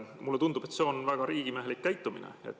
Mulle tundub, et see on väga riigimehelik käitumine.